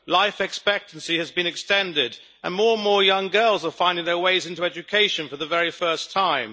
Life expectancy has been extended, and more and more young girls are finding their way into education for the very first time.